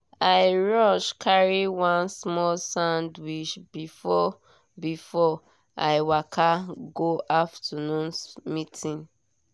i rush carry one small sandwich before before i waka go afternoon meeting.